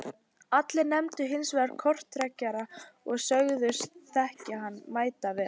Allir nefndu hins vegar korktrekkjara og sögðust þekkja hann mætavel.